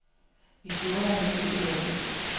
Vi gjorde, hvad der stod i loven.